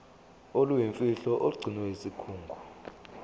oluyimfihlo olugcinwe yisikhungo